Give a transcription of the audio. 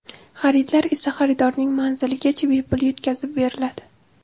Xaridlar esa xaridorning manziligacha bepul yetkazib beriladi.